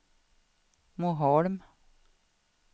Moholm